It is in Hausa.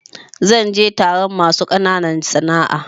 Zan je taron masu ƙananan sana'a.